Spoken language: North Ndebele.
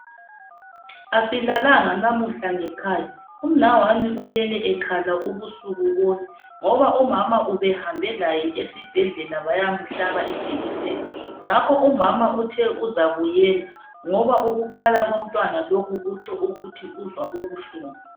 Asilalanga lamuhla ngekhaya umnawami ulele ekhala ubusuku bonke ngoba umama ubehambe laye esibhedlela bayamhlaba ijekiseni ngakho umama, uthe uzabuyela ngoba ukukhala komntwana lokhu kutsho uzwa ubuhlungu.